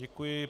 Děkuji.